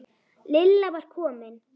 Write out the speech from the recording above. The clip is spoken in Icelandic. Lilla var komin.